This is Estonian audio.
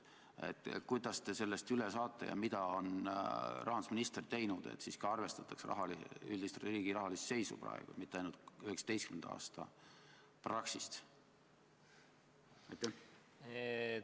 Kuidas te sellest üle saate ja mida on rahandusminister teinud, et arvestataks praegust üldist riigi rahalist seisu, mitte ainult 2019. aasta Praxise analüüsi?